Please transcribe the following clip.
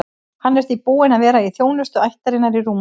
Hann er því búinn að vera í þjónustu ættarinnar í rúma öld.